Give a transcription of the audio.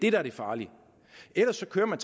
er det farlige ellers kører man